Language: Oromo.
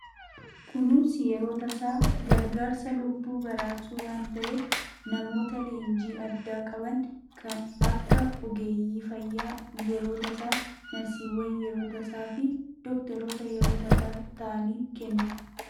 Kunuunsi yeroo tasaa gargaarsa lubbuu baraarsuu waan ta'eef namoota leenjii addaa qabaniif akka ogeeyyii fayyaa yeroo tasaa, narsiiwwan yeroo tasaa fi dookteroota yeroo ta'aniin kennama.